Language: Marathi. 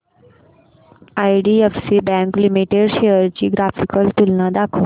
आयडीएफसी बँक लिमिटेड शेअर्स ची ग्राफिकल तुलना दाखव